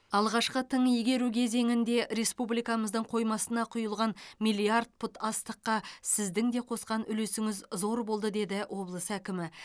алғашқы тың игеру кезеңінде республикамыздың қоймасына құйылған миллиард пұт астыққа сіздің де қосқан үлесіңіз зор болды деді облыс әкімі